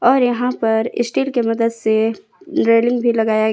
और यहां पर स्टील की मदद से रेलिंग भी लगाया--